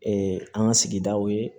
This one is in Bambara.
an ka sigidaw ye